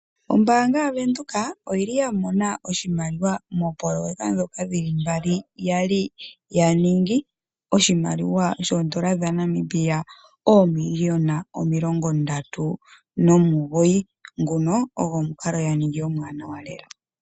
Ombanga YaVenduka oyili ya mona oshimaliwa moopoloyeka dhoka dhili mbali, yali ya ningi oshimaliwa shondola dhaNamibia omiiliyona 39 nguno ogo omukalo ya ningi omuwanawa lela.